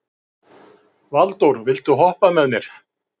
Valdór, viltu hoppa með mér?